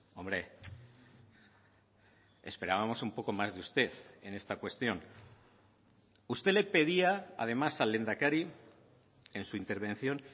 hombre esperábamos un poco más de usted en esta cuestión usted le pedía además al lehendakari en su intervención